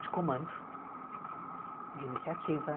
De comando, de iniciativa.